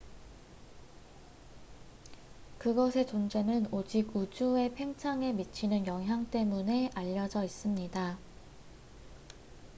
그것의 존재는 오직 우주의 팽창에 미치는 영향 때문에 알려져 있습니다